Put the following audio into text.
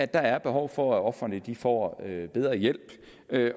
der er behov for at ofrene får bedre hjælp